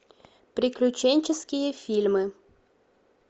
приключенческие фильмы